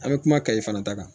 An bɛ kuma kayi fana ta kan